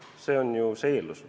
See on eeldus.